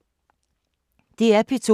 DR P2